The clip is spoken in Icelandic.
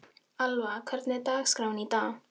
Alva, hvernig er dagskráin í dag?